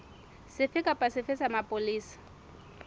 sefe kapa sefe sa mapolesa